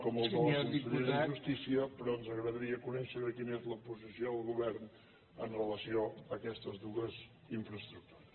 com el de la consellera de justícia però ens agradaria conèixer quina és la posició el govern amb relació a aquestes dues infraestructures